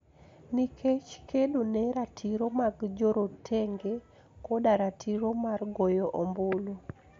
Nikech kedo ne ratiro mag jorotenge koda ratiro mar goyo ombulu.